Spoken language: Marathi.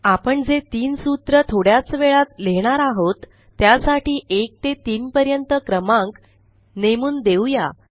आपण जे तीन सूत्र थोडयाच वेळात लिहिणार आहोत त्यासाठी 1ते 3पर्यंत क्रमांक नेमुन देऊ या